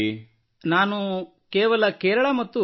ಕೇವಲ ಕೇರಳ ಮತ್ತು Tamil Nadu only Kerala and Tamil Nadu